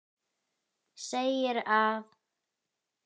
segir að